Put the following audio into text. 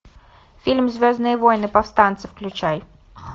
фильм звездные войны повстанцы включай